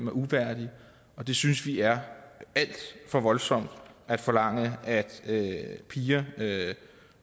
er uværdige og det synes vi er alt for voldsomt at forlange at piger